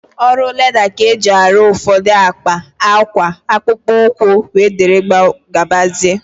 Ọrụ leda ka e ji arụ ụfọdụ akpa, akwa, akpụkpọ ụkwụ, wee dịrị gabazia